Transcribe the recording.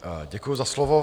Děkuji za slovo.